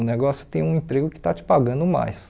O negócio tem um emprego que está te pagando mais.